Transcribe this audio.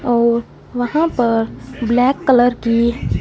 और वहां पर ब्लैक कलर की--